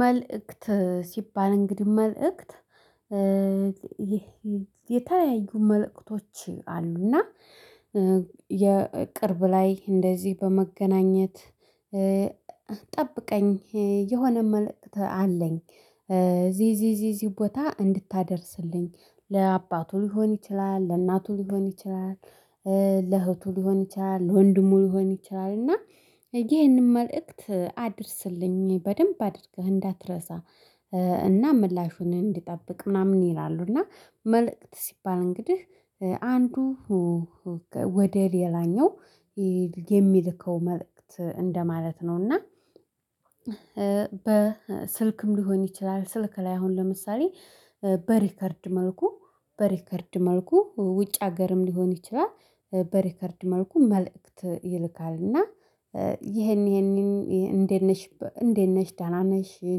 መልእክት ሲባል እንግዲህ መልእክት የተለያዩ መልእክቶች አሉ። እና የቅርብ ላይ እንደዚህ በመገናኘት ጠብቀኝ የሆነ መልእክት አለኝ። ዚዚዚዚ ቦታ እንድታደርስልኝ ለአባቱ ሊሆን ይችላል ለእናቱ ሊሆን ይችላል። ለእህቱ ሊሆን ይችላል ለወንድሙ ሊሆን ይችላል እና ይህንን መልእክት አድርስልኝ በደንብ አድርገህ እንዳትረሳ። እና ምላሹን እንድጠብቅ ምናምን ይላሉ። እና መልእክት ሲባል እንግዲህ አንዱ ወደ ሌላኛው የሚልከው መልእክት እንደማለት ነው። እና በስልክም ሊሆን ይችላል ስልክ ላይ አሁን ለምሳሌ። በሪከርድ መልኩ በሪከርድ መልኩ ውጭ ሀገርም ሊሆን ይችላል። በሪከርድ መልኩ መልእክት ይልካል። እና ይሄን ይሄንን እንዴት ነሽ እንዴት ነሽ ደና ነሽ ይሄን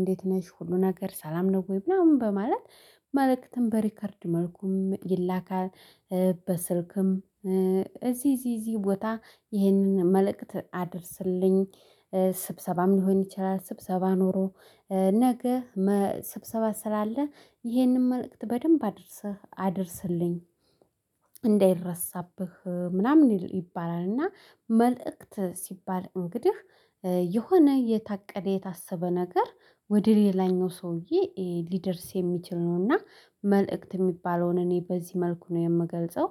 እንዴት ነሽ ሁሉ ነገር ሰላም ነው ወይ? ምናምን በማለት መልእክትን በሪከርድ መልኩም ይላካል። በስልክም እዚህ እዚህ እዚህ ቦታ ይህንን መልእክት አድርስልኝ። ስብሰባም ሊሆን ይችላል ስብሰባ ኖሮ ነገ ስብሰባ ስላለ ይሄንን መልእክት በደንብ አድርሰህ አድርሰልኝ እንዳይረሳብህ ምናምን ይባላል። እና መልእክት ሲባል እንግዲህ የሆነ የታቀደ የታሰበ ነገር ወደ ሌላኛው ሰውዬ ሊደርስ የሚችል ነውና። መልእክት የሚባለውን እኔ በዚህ መልኩ ነው የምገልጸው